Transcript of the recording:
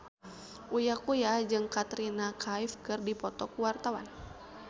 Uya Kuya jeung Katrina Kaif keur dipoto ku wartawan